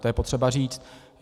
To je potřeba říct.